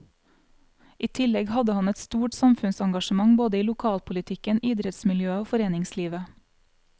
I tillegg hadde han et stort samfunnsengasjement både i lokalpolitikken, idrettsmiljøet og foreningslivet.